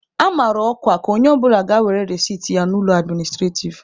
A mara ọkwa ka onye ọbụla ga were resit ya n'ụlọ administrativ.